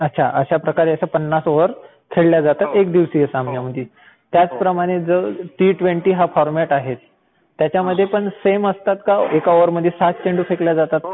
अच्छा. अश्या प्रकारे पन्नास ओव्हर खेळल्या जातात एकदिवसीय सामन्यांमध्ये. त्याचप्रमाणे हा जो टी ट्वेन्टी हा फॉरमॅट आहे त्याच्यामध्ये पण सेम असतात का? एका ओव्हरमध्ये सहाच चेंडू फेकले जातात का?